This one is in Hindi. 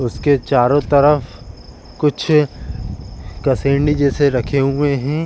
उसके चारों तरफ कुछ कसेंडी जैसे रखे हुए हैं।